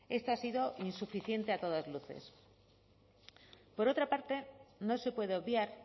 esta ha sido insuficiente a todas luces por otra parte no se puede obviar